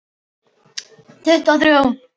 Tuttugu og þrjú!